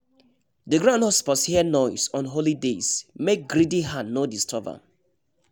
the ground no suppose hear noise on holy days make greedy hand no disturb am